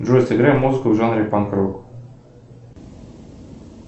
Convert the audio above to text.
джой сыграй музыку в жанре панк рок